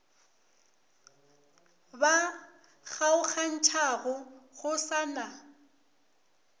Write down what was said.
ba kgaogantšhago go sa na